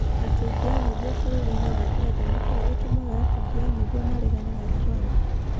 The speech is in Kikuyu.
Atungi a Nyĩmbo bũrũri-inĩ wa Ngeretha nĩ kĩĩ gĩtũmaga atungi a nyĩmbo maregane na Trump?